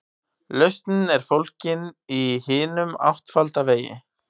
Lausnin er fólgin í hinum áttfalda vegi.